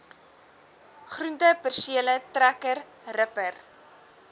groentepersele trekker ripper